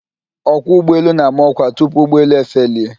Ọkwọ ụgbọelu na-ama ọkwa tupu ụgbọelu efelie.